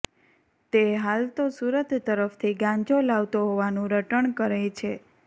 તે હાલ તો સુરત તરફથી ગાંજો લાવતો હોવાનું રટણ કરે છે